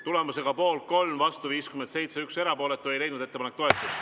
Tulemusega poolt 3, vastu 57 ja erapooletuid 1, ei leidnud ettepanek toetust.